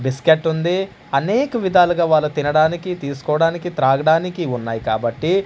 బిస్కెట్టుంది అనేక విధాలుగా వాళ్ళు తినడానికి తీసుకోవడానికి త్రాగడానికి ఉన్నాయి కాబట్టి--